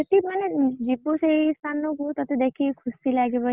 ସେଠି ମାନେ ଯିବୁ ସେଇ ଦେଖି କି ଖୁସି ଲାଗିବ।